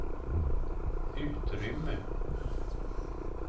utrymme